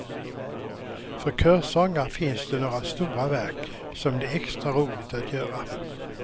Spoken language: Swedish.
För körsångare finns det några stora verk som det är extra roligt att göra.